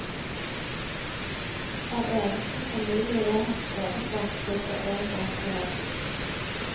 Hver eneste familie jeg har skrevet om flytter en gang eller to.